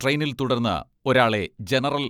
ട്രെയിനിൽ തുടർന്ന് ഒരാളെ ജനറൽ